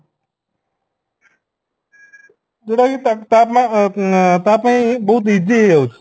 ଯୋଉଟା କି ତା ଆଁ ତାପାଇଁ ବହୁତ easy ହେଇଯାଉଛି